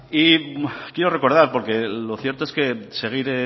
y quiero recordar porque lo cierto es que seguir